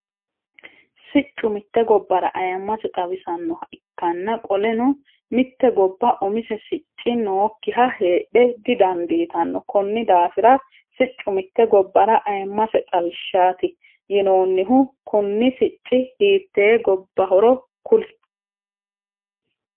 Siccu mitte gobara ayimase xawisanoha ikanna qoleno mitte gobba umise sicci nookiha heedhe didandiitano konni daafira siccu mitte gobara ayimase xawishaati yinoonnihu kunni sicci hiitee gobahoro kuli?